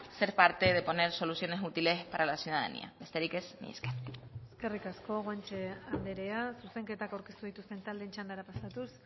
ser parte de poner soluciones útiles para la ciudadanía besterik ez mila esker eskerrik asko guanche anderea zuzenketak aurkeztu dituzten taldeen txandara pasatuz